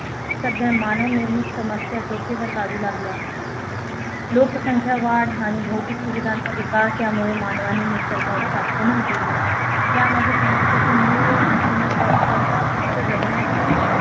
सध्या मानवनिर्मित समस्या डोके वर काढू लागल्या लोकसंख्या वाढ आणि भौतिक सुविधांचा विकास यामुळे मानवाने निसर्गावर आक्रमण केले यामध्ये समस्येचे मूळ न करता फक्त जगण्यातील